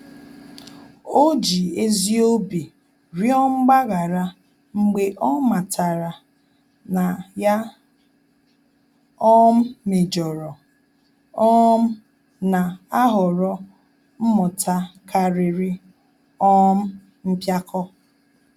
Ọ́ jì ezi obi rịọ mgbaghara mgbe ọ́ màtàrà na yá um méjọ̀rọ̀, um nà-àhọ̀rọ́ mmụta kàrị́rị́ um mpíákọ́.